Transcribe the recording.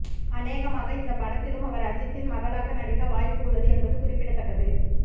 அனேகமாக இந்த படத்திலும் அவர் அஜித்தின் மகளாக நடிக்க வாய்ப்பு உள்ளது என்பது குறிப்பிடத்தக்கது